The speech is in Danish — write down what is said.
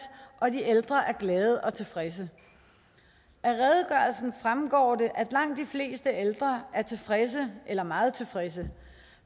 og at de ældre er glade og tilfredse af redegørelsen fremgår det at langt de fleste ældre er tilfredse eller meget tilfredse